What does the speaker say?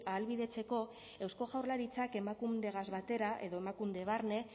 ahalbidetzeko eusko jaurlaritzak emakundegaz batera edo emakunde barne